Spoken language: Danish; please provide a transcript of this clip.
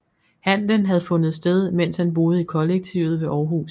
Handelen havde fundet sted mens han boede i kollektivet ved Århus